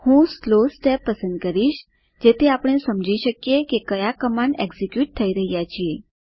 હું slow step પસંદ કરીશ જેથી આપણે સમજી શકીએ કે કયા કમાંડ એકઝીક્યુટ થઇ રહ્યા છે